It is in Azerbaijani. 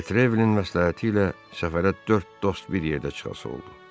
Detrevilin məsləhəti ilə səfərə dörd dost bir yerdə çıxası oldu.